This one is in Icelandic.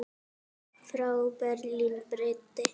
Frá Berlín breiddi